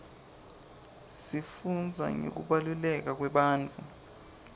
sifundza ngekubaluleka kwebantfu